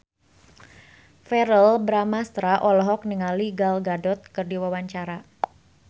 Verrell Bramastra olohok ningali Gal Gadot keur diwawancara